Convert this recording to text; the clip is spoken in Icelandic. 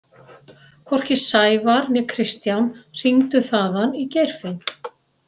Hvorki Sævar né Kristján hringdu þaðan í Geirfinn.